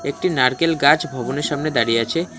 একটি নারকেল গাছ ভবনের সামনে দাঁড়িয়ে আছে।